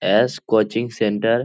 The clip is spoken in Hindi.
S coaching centre.